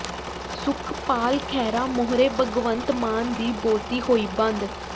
ਸੁਖਪਾਲ ਖਹਿਰਾ ਮੂਹਰੇ ਭਗਵੰਤ ਮਾਨ ਦੀ ਬੋਲਤੀ ਹੋਈ ਬੰਦ